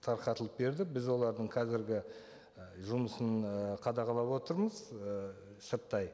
тарқатылып берді біз олардың қазіргі і жұмысын ы қадағалап отырмыз і сырттай